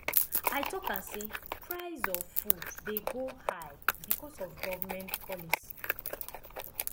i talk am sey price of food dey go high because of government policy